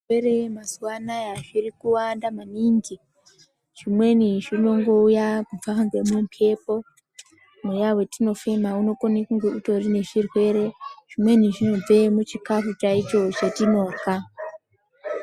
Zvirwere mazuwaanaya zvirikuwanda maningi, zvimweni zvinongouya kubva ngemumbepo mweya watinofema unokone kunge utorine zvirwere, zvimweni zvinobve muchakafu chaicho chatinorya.